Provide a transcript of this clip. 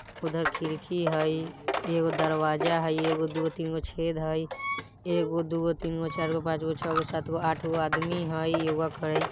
उधर खिड़की हई एगो दरवाजा हई एगो दुगो तीनगो छेद हई एगो दुगो तीनगो चारगो पाँचगो छगो सातगो आठगो आदमी हई योग करइ।